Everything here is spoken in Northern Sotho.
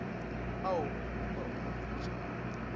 ao o ka a hwetšago